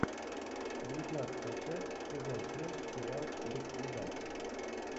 девятнадцатая часть сезон семь сериал без следа